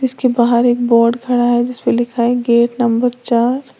के बाहर एक बोर्ड खड़ा है जिस पे लिखा है गेट नंबर चार।